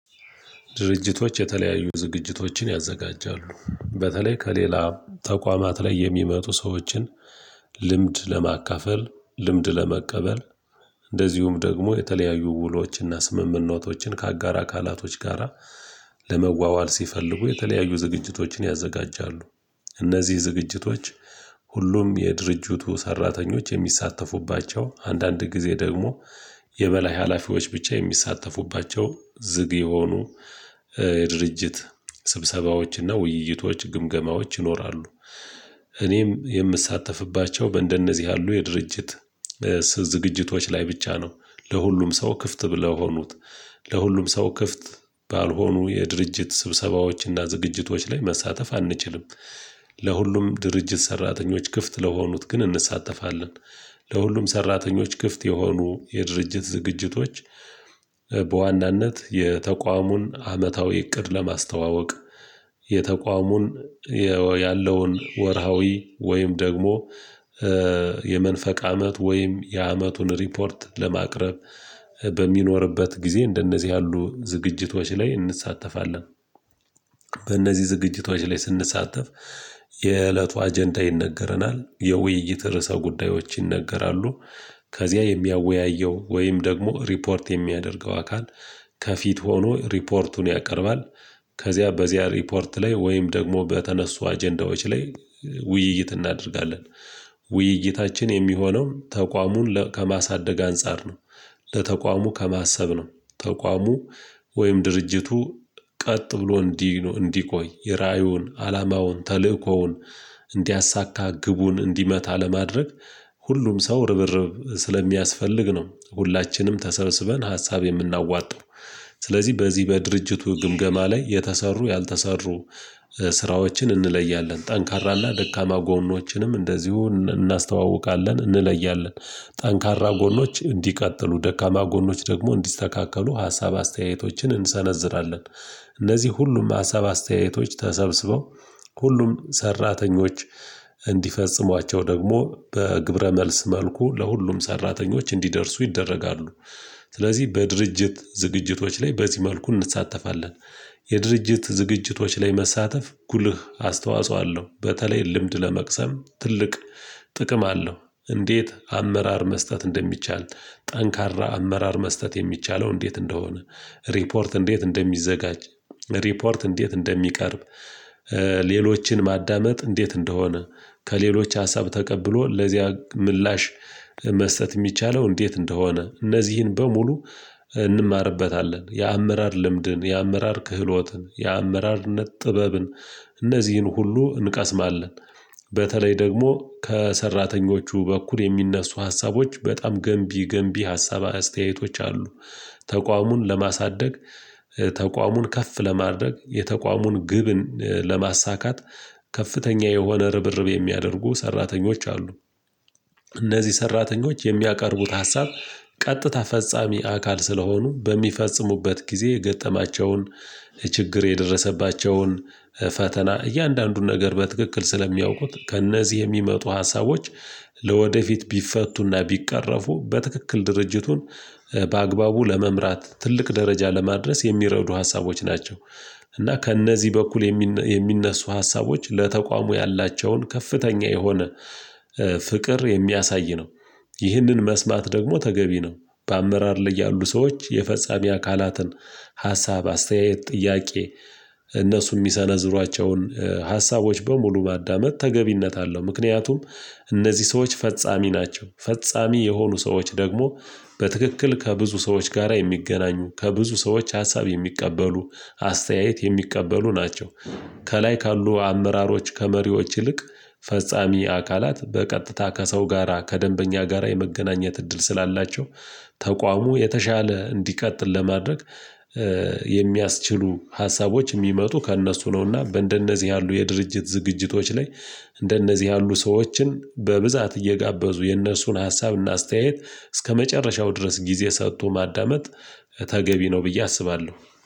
ድርጅቶች የተለያዩ ዝግጅቶችን ያዘጋጃሉ በተለይ ከሌላ ተቋማት ላይ የሚመጡ ሰዎችን ልምድ ለማካፈል ልምድ ለመቀበል እንደዚሁም ደግሞ የተለያዩ ውሎችና ስምምነቶችን ከአጋር አካላቶች ጋራ ለመዋዋል ሲፈልጉ የተለያዩ ዝግጅቶችን ያዘጋጃሉ። እነዚህ ዝግጅቶች ሁሉም የድርጅቱ ሰራተኞች የሚሳተፉባቸው አንዳንድ ጊዜ ደግሞ የበላይ ሀላፊዎች ብቻ የሚሳተፉባቸው ዝግ የሆኑ ድርጅት ስብሰባዎችና ውይይቶች ግምገማዎች ይኖራሉ። እኔም የምሳተፍባቸው እንደነዚህ ያሉ የድርጅት ዝግጅቶች ላይ ብቻ ነው ለሁሉም ሰው ክፍት ብለው ሆኑት ለሁሉም ሰው ክፍት ባልሆኑ የድርጅት ስብሰባዎችና ዝግጅቶች ላይ መሳተፍ አንችልም። ለሁሉም ድርጅት ሰራተኞች ክፍት ለሆኑት ግን እንሳተፋለን። ለሁሉም ሰራተኞች ክፍት የሆኑ የድርጅት ዝግጅቶች በዋናነት የተቋሙን አመታዊ እቅድ ለማስተዋወቅ የተቋሙን ያለውን ወርሃዊ ወይም ደግሞ የመንፈቅ አመት ወይም የአመቱን ሪፖርት ለማቅረብ በሚኖርበት ጊዜ እንደነዚህ ያሉ ዝግጅቶች ላይ እንሳተፋለን። በእነዚህ ዝግጅቶች ላይ ስንሳተፍ የእለቱ አጀንዳ ይነገረናል የውይይት ርዕሰ ጉዳዮች ይነገራሉ። ከዚያ የሚያወያየው ወይም ደግሞ ሪፖርት የሚያደርገው አካል ከፊት ሆኖ ሪፖርቱን ያቀርባል። ከዚያ በዚያ ሪፖርት ላይ ወይም ደግሞ በተነሱ አጀንዳዎች ላይ ውይይት እናደርጋለን። ውይይታችን የሚሆነው ተቋሙን ከማሳደግ አንፃር ነው። ለተቋሙ ከማሰብ ነው ተቋሙ ወይም ድርጅቱ ቀጥ ብሎ እንዲህ እንዲቆይ የራእዩን አላማውን ተልእኮውን እንዲያሳካ ግቡን እንዲመታ ለማድረግ ሁሉም ሰው ርብርብ ስለሚያስፈልግ ነው። ሁላችንም ተሰብስበን ሀሳብ የምናዋጣው። ስለዚህ በዚህ በድርጅቱ ግምገማ ላይ የተሰሩ ያልተሰሩ ስራዎችን እንለያለን ጠንካራ ላይ ደካማ ጎኖችንም እንደዚሁ እናስተዋውቃለን እንለያለን። ጠንካራ ጎኖች እንዲቀጥሉ ደካማ ጎኖች ደግሞ እንዲስተካከሉ ሀሳብ አስተያየቶችን እንሰነዝራለን። እነዚህ ሁሉም ሀሳብ አስተያየቶች ተሰብስበው ሁሉም ሰራተኞች እንዲፈጽሟቸው ደግሞ በግብረ መልስ መልኩ ለሁሉም ሰራተኞች እንዲደርሱ ይደረጋሉ። ስለዚህ በድርጅት ዝግጅቶች ላይ በዚህ መልኩ እንሳተፋለን። የድርጅት ዝግጅቶች ላይ መሳተፍ ጉልህ አስተዋጽኦ አለው በተለይ ልምድ ለመቅሰም ትልቅ ጥቅም አለው። እንዴት አመራር መስጠት እንደሚቻል ጠንካራ አመራር መስጠት የሚቻለው እንዴት እንደሆነ ሪፖርት እንዴት እንደሚዘጋጅ ሪፖርት እንዴት እንደሚቀርብ? ሌሎችን ማዳመጥ እንዴት እንደሆነ ከሌሎች ሀሳብ ተቀብሎ ለዚያ ምላሽ መስጠት የሚቻለው እንዴት እንደሆነ እነዚህን በሙሉ እንማርበታለን። የአመራር ልምድን የአመራር ክህሎትን የአመራርነት ጥበብን እነዚህን ሁሉ እንቀስማለን። በተለይ ደግሞ ከሰራተኞቹ በኩል የሚነሱ ሀሳቦች በጣም ገንቢ ገንቢ ሀሳብ አስተያየቶች አሉ። ተቋሙን ለማሳደግ ተቋሙን ከፍ ለማድረግ የተቋሙን ግብን ለማሳካት ከፍተኛ የሆነ ርብርብ የሚያደርጉ ሰራተኞች አሉ። እነዚህ ሰራተኞች የሚያቀርቡት ሀሳብ ቀጥታ ፈጻሚ አካል ስለሆኑ በሚፈጽሙበት ጊዜ የገጠማቸውን ችግር የደረሰባቸውን ፈተና እያንዳንዱን ነገር በትክክል ስለሚያውቁት ከእነዚህ የሚመጡ ሀሳቦች ለወደፊት ቢፈቱና ቢቃረፉ በትክክል ድርጅቱን በአግባቡ ለመምራት ትልቅ ደረጃ ለማድረስ የሚረዱ ሀሳቦች ናቸው። እና ከእነዚህ በኩል የሚነሱ ሀሳቦች ለተቋሙ ያላቸውን ከፍተኛ የሆነ ፍቅር የሚያሳይ ነው። ይህንን መስማት ደግሞ ተገቢ ነው። በአመራር ላይ ያሉ ሰዎች የፈጻሚ አካላትን ሀሳብ አስተያየት ጥያቄ እነሱ የሚሰነዝሯቸውን ሀሳቦች በሙሉ ማዳመጥ ተገቢነት አለው። ምክንያቱም እነዚህ ሰዎች ፈጻሚ ናቸው ፈጻሚ የሆኑ ሰዎች ደግሞ በትክክል ከብዙ ሰዎች ጋራ የሚገናኙ ከብዙ ሰዎች ሀሳብ የሚቀበሉ አስተያየት የሚቀበሉ ናቸው። ከላይ ካሉ አመራሮች ከመሪዎች ይልቅ ፈጻሚ አካላት በቀጥታ ከሰው ጋራ ከደንበኛ ጋራ የመገናኘት እድል ስላላቸው ተቋሙ የተሻለ እንዲቃጥል ለማድረግ የሚያስችሉ ሀሳቦች የሚመጡ ከእነሱ ነውና እንደነዚህ ያሉ የድርጅት ዝግጅቶች ላይ። እንደነዚህ ያሉ ሰዎችን በብዛት እየጋበዙ የእነሱን ሀሳብና አስተያየት እስከመጨረሻው ድረስ ጊዜ ሰጡ ማዳመጥ ተገቢ ነው ብዬ አስባለሁ